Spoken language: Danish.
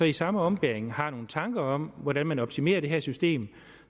i samme ombæring har nogle tanker om hvordan man optimerer det her system